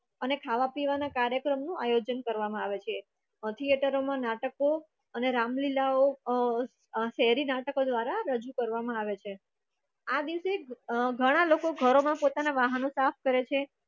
અને ખાવા-પીવાનો કાર્યક્રમનું આયોજન કરવામાં આવે છે અ થિએટર મા નાટકો અને રામલીલા ઓ અ શેરી નાટકો દ્વારા રજૂ કરવામાં આવે છે આ દિવસે ઘણા લોકો ઘરો મા પોતાના વાહનો સાફ કરે છે.